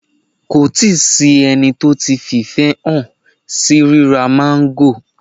Kò tí ì sí ẹni tó ti fi ìfẹ́ hàn sí ríra máńgò